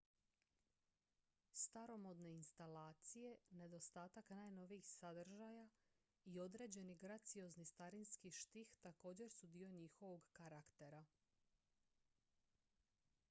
staromodne instalacije nedostatak najnovijih sadržaja i određeni graciozni starinski štih također su dio njihovog karaktera